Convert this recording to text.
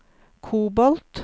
kobolt